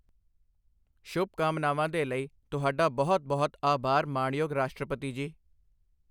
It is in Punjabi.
ਸ਼ੁਭਕਾਮਨਾਵਾਂ ਦੇ ਲਈ ਤੁਹਾਡਾ ਬਹੁਤ ਬਹੁਤ ਆਭਾਰ ਮਾਣਯੋਗ ਰਾਸ਼ਟਰਪਤੀ ਜੀ।